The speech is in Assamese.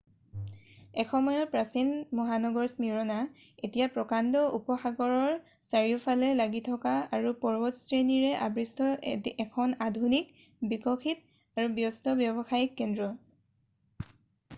এসময়ৰ প্ৰাচীন মহানগৰ স্মীৰনা এতিয়া প্ৰকাণ্ড উপসাগৰৰৰ চাৰিওফালে লাগি থকা আৰু পৰ্বতশ্ৰেণীৰে আবৃষ্ট এখন আধুনিক বিকশিত আৰু ব্যস্ত ব্যৱসায়িক কেন্দ্ৰ